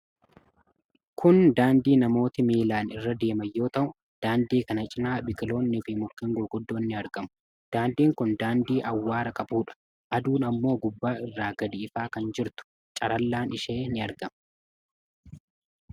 Kun daandii namooti miilaan irra deeman yoo ta'u, daandii kana cinaa biqiloonni fi mukkeen gurguddoon ni argamu. Daandiin kun daandii awwaara qabuudha. Aduun ammoo gubbaa irra gadi ifaa kan jirtu, carallaan ishee ni argama.